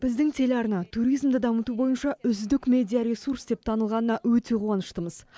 біздің телеарна туризмді дамыту бойынша үздік медиа ресурс деп танылғанына өте қуаныштымыз